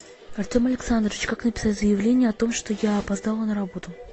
артем александрович как написать заявление о том что я опоздала на работу